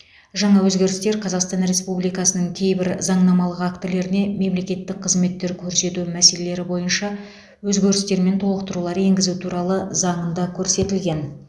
жаңа өзгерістер қазақстан республикасы кейбір заңнамалық актілеріне мемлекеттік қызметтер көрсету мәселелері бойынша өзгерістер мен толықтырулар енгізу туралы заңында көрсетілген